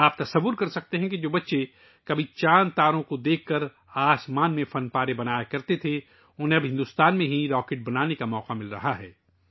آپ اندازہ لگا سکتے ہیں کہ وہ بچے ، جو کبھی آسمان پر چاند اور ستاروں کو دیکھ کر شکلیں بناتے تھے، اب انہیں بھارت میں ہی راکٹ بنانے کا موقع مل رہا ہے